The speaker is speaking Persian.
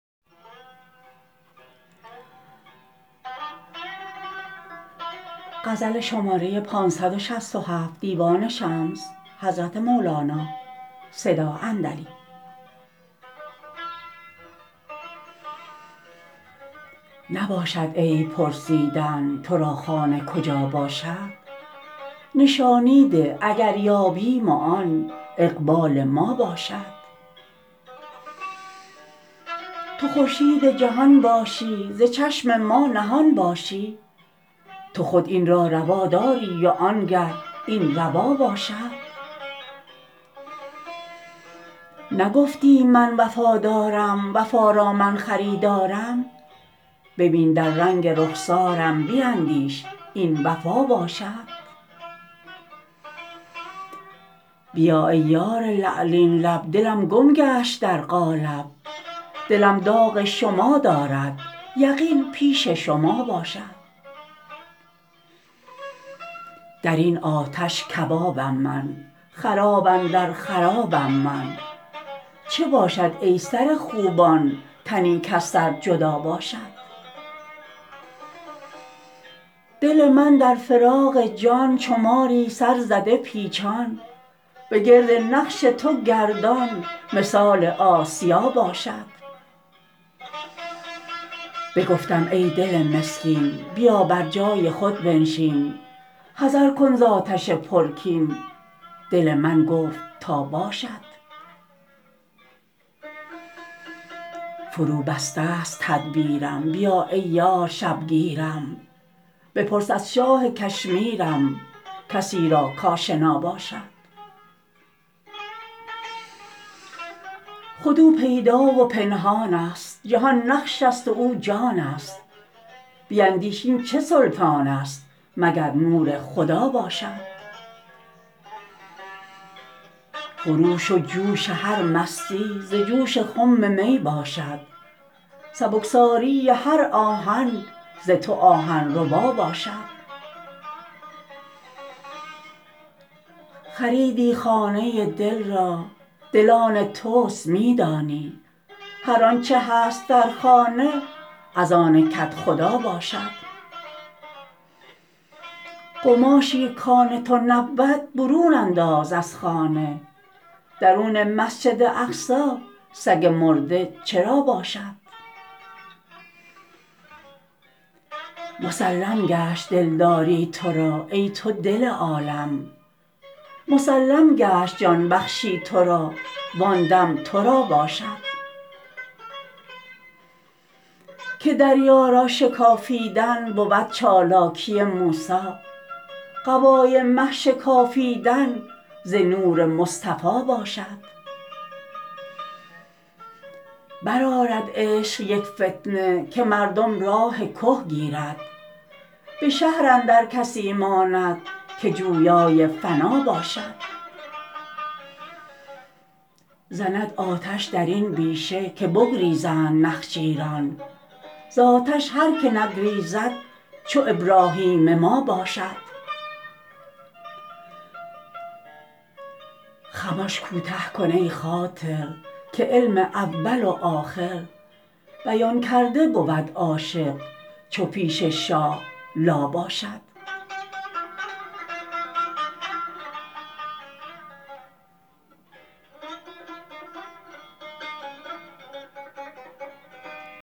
نباشد عیب پرسیدن تو را خانه کجا باشد نشانی ده اگر یابیم وان اقبال ما باشد تو خورشید جهان باشی ز چشم ما نهان باشی تو خود این را روا داری وانگه این روا باشد نگفتی من وفادارم وفا را من خریدارم ببین در رنگ رخسارم بیندیش این وفا باشد بیا ای یار لعلین لب دلم گم گشت در قالب دلم داغ شما دارد یقین پیش شما باشد در این آتش کبابم من خراب اندر خرابم من چه باشد ای سر خوبان تنی کز سر جدا باشد دل من در فراق جان چو ماری سرزده پیچان بگرد نقش تو گردان مثال آسیا باشد بگفتم ای دل مسکین بیا بر جای خود بنشین حذر کن ز آتش پرکین دل من گفت تا باشد فروبستست تدبیرم بیا ای یار شبگیرم بپرس از شاه کشمیرم کسی را کاشنا باشد خود او پیدا و پنهانست جهان نقش است و او جانست بیندیش این چه سلطانست مگر نور خدا باشد خروش و جوش هر مستی ز جوش خم می باشد سبکساری هر آهن ز تو آهن ربا باشد خریدی خانه دل را دل آن توست می دانی هر آنچ هست در خانه از آن کدخدا باشد قماشی کان تو نبود برون انداز از خانه درون مسجد اقصی سگ مرده چرا باشد مسلم گشت دلداری تو را ای تو دل عالم مسلم گشت جان بخشی تو را وان دم تو را باشد که دریا را شکافیدن بود چالاکی موسی قبای مه شکافیدن ز نور مصطفی باشد برآرد عشق یک فتنه که مردم راه که گیرد به شهر اندر کسی ماند که جویای فنا باشد زند آتش در این بیشه که بگریزند نخجیران ز آتش هر که نگریزد چو ابراهیم ما باشد خمش کوته کن ای خاطر که علم اول و آخر بیان کرده بود عاشق چو پیش شاه لا باشد